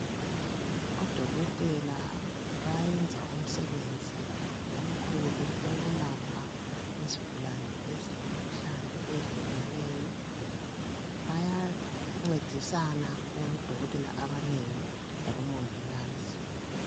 Odokotela bayenza umsebenzi omkhulu owokulapha izigulane ezilemkhuhlane eyehlukeneyo. Bayancedisana bengodokotela abanengi labomongikazi.